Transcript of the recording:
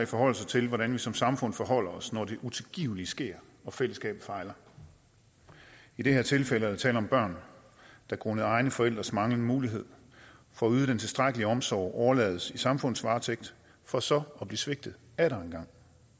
forholder sig til hvordan vi som samfund forholder os når det utilgivelige sker og fællesskabet fejler i det her tilfælde er der tale om børn der grundet egne forældres manglende mulighed for at yde den tilstrækkelige omsorg overlades i samfundets varetægt for så at blive svigtet atter en gang